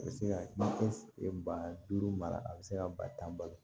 A bɛ se ka kɛ ba duuru mara a bɛ se ka ba tan balo